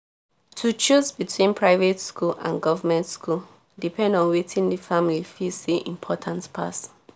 to choose between private school and goverment school depend on watin di family feel say important pass